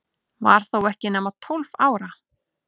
Var þó ekki nema tólf ára.